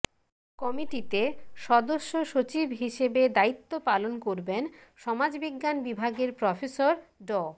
কমিটিতে সদস্যসচিব হিসেবে দায়িত্ব পালন করবেন সমাজবিজ্ঞান বিভাগের প্রফেসর ড